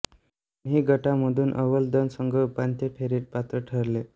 दोन्ही गटामधून अव्वल दोन संघ उपांत्य फेरीत पात्र ठरले